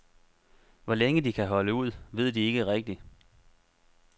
Hvor længe de kan holde ud, ved de ikke rigtig.